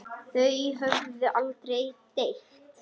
Þau höfðu aldrei deilt.